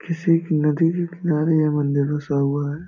किसी नदी के किनारे ये मंदिर बसा हुआ है ।